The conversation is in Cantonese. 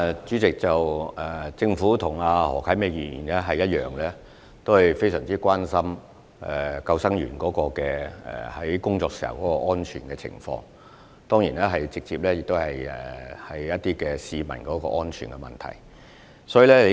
主席，政府與何啟明議員同樣非常關注救生員工作時的安全，當然這也直接與市民的安全相關。